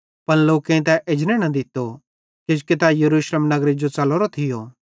पन लोकेईं तै एजने न दित्तो किजोकि तै यरूशलेम नगरे जो च़लोरो थियो